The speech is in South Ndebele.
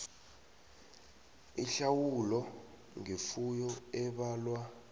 ihlawulo ngefuyo ebalwa